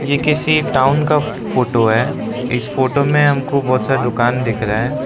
ये किसी टाउन का फोटो है इस फोटो में हमको बहुत सारी दुकान देख रहे हैं।